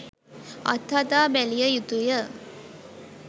අත්හදා බැලිය යුතුය